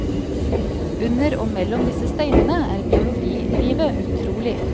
Under og mellom disse steinene er biologilivet utrolig.